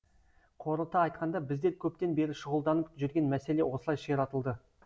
қорыта айтқанда біздер көптен бері шұғылданып жүрген мәселе осылай ширатылды